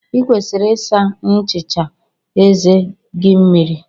Ị kwesịrị ịsa nchicha eze gị mmiri.